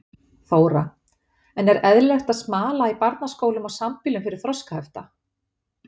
Þóra: En er eðlilegt að smala í barnaskólum og sambýlum fyrir þroskahefta?